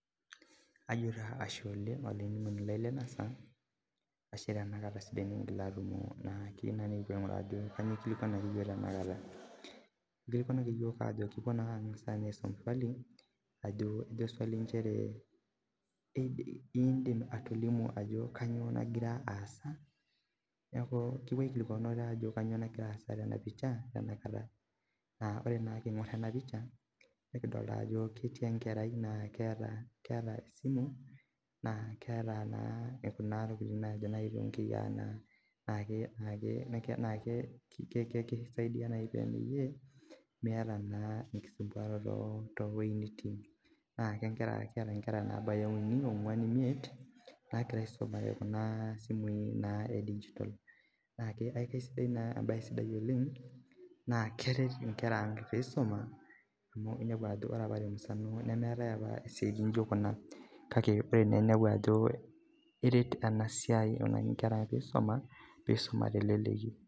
Ajo taa ashe oleng olainining'oni lai lena saa ashe tena kata sidai nikingila atumo naa kiyieu naa nikipuo aing'uraa ajo kanyio ikilikuanaki iyiok tenakata ikilikuanaki iyiok ajo kipuo naa ang'asa inye aisum swali ajo ejo swali inchere indim atolimu ajo kanyio nagira aasa niaku kipuo aikilikuan ajo kanyio nagira aasa tena pisha tenakata naa ore naa king'orr ena picha nikidolta ajo ketii enkerai naa keeta ,keeta esimu naa keeta naa kuna tokiting naajo nai tonkiyia naa naake ke ke kisaidia naaji pemeyie miata naa enkisumbuaroto towoi nitii naa kenkera keeta inkera nabaya uni ong'uan imiet nagira aisumare kuna simui naa e digital naake akeisidai naa embaye sidai oleng naa keret inkera ang peisuma amu inepu ajo ore apa temusano nemeetae apa isiaitin nijio kuna kake ore ene ninepu ajo eret ena siai aikunaki inkera peisuma pisuma teleleki.